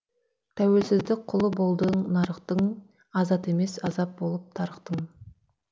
тәуелсіздік құлы болдың нарықтың азат емес азап болып тарықтың